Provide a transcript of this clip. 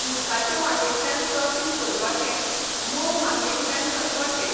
उदकाचे वांटेतल्यान क्रॉसींग करपाचें, मोव मातयेंतल्यान चलपाचें.